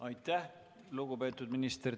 Aitäh, lugupeetud minister!